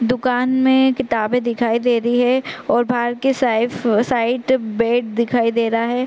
दुकान में किताबे दिखाई दे रही है और बाहर कि साइड बेड दिखाई दे रहा है।